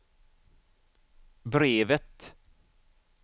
brevet